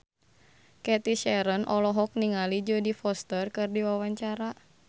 Cathy Sharon olohok ningali Jodie Foster keur diwawancara